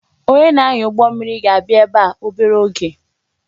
Onye na-anya ụgbọ mmiri ga-abịa ebe a obere oge